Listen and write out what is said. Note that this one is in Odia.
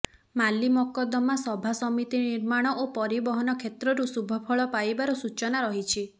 ମାଲି ମକଦ୍ଦମା ସଭା ସମିତି ନିର୍ମାଣ ଓ ପରିବହନ କ୍ଷେତ୍ରରୁ ଶୁଭଫଳ ପାଇବାର ସୂଚନା ରହିଛି